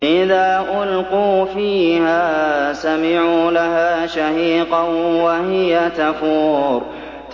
إِذَا أُلْقُوا فِيهَا سَمِعُوا لَهَا شَهِيقًا وَهِيَ تَفُورُ